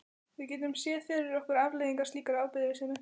Við getum séð fyrir okkur afleiðingar slíkrar afbrýðisemi.